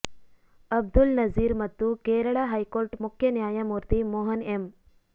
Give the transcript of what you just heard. ಅಬ್ದುಲ್ ನಜೀರ್ ಮತ್ತು ಕೇರಳ ಹೈಕೋರ್ಟ್ ಮುಖ್ಯ ನ್ಯಾಯಮೂರ್ತಿ ಮೋಹನ ಎಂ